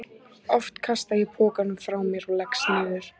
Oft kasta ég pokanum frá mér og leggst niður.